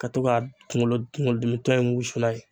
Ka to ka kunkolo kunkolo dimi tɔ in wusu n'a ye